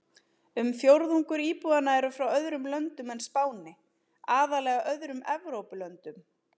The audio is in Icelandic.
Um fjórðungur íbúanna eru frá öðrum löndum en Spáni, aðallega öðrum Evrópulöndum.